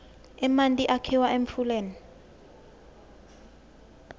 emanti akhiwa emfuleni